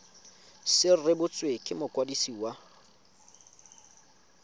se rebotswe ke mokwadisi wa